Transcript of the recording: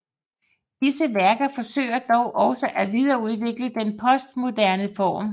Disse værker forsøger dog også at videreudvikle den postmoderne form